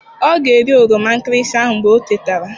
Ọ ga-eri oroma nkịrịsị ahụ mgbe ọ tetara.